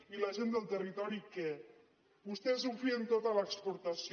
i la gent del territori què vostès ho fien tot a l’exportació